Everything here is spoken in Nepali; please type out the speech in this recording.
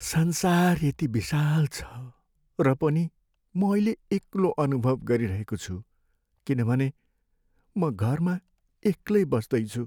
संसार यति विशाल छ र पनि म अहिले एक्लो अनुभव गरिरहेको छु किनभने म घरमा एक्लै बस्दैछु।